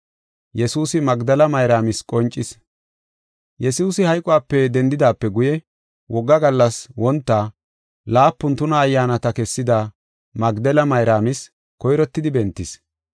Yesuusi hayqope dendidaape guye, wogga gallas wonta, laapun tuna ayyaanata kessida Magdela Mayraamis koyrottidi bentis.